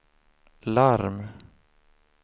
larm